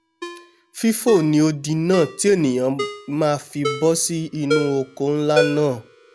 fífò ni odi náà tí ènìà máa fi bọ́ sí inú oko nlá náà